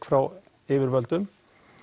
frá yfirvöldum